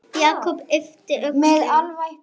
Jakob yppti öxlum.